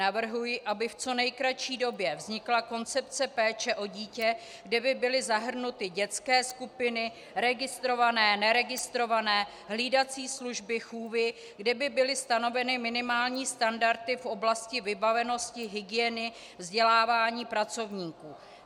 Navrhuji, aby v co nejkratší době vznikla koncepce péče o dítě, kde by byly zahrnuty dětské skupiny, registrované, neregistrované, hlídací služby, chůvy, kde by byly stanoveny minimální standardy v oblasti vybavenosti, hygieny, vzdělávání pracovníků.